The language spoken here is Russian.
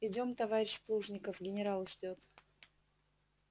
идём товарищ плужников генерал ждёт